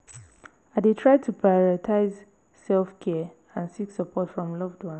i dey try to prioritize self-care and seek support from loved ones.